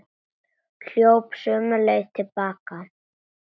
Hljóp sömu leið til baka.